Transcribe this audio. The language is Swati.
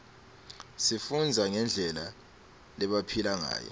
sifundza ngendlela lebebaphila ngayo